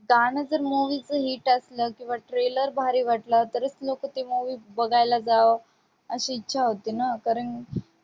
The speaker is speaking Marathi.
गाणं जर movie चं hit असलं किंवा trailer भारी वाटला तरीच लोकं तेव्हा बघायला जावं अशी इच्छा होते ना कारण